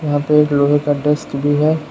यहां पे एक लोहे का डेस्क भी है।